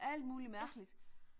Alt muligt mærkeligt